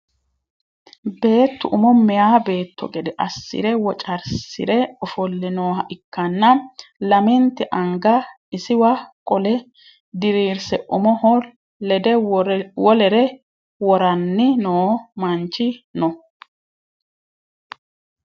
Beettu umo meyaa beetto gede assire wocarsire ofolle nooha ikkanna lamente anga isiwa qole diriirse umoho lede wolere woranni noo manchi no.